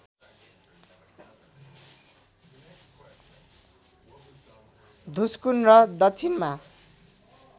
धुस्कुन र दक्षिणमा